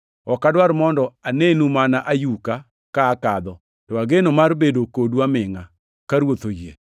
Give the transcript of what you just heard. Ok adwar mondo anenu mana ayuka ka akadho, to ageno mar bedo kodu amingʼa, ka Ruoth oyie.